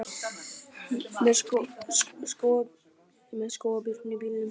Með skógarbjörn í bílnum